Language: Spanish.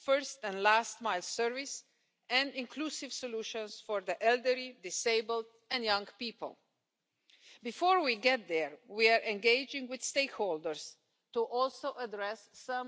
Nuestras preocupaciones principales son la seguridad, la legalidad de estos modos de transporte, la responsabilidad jurídica y las capacitaciones de los trabajadores del sector, entre otros puntos.